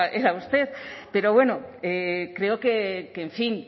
era usted pero bueno creo que en fin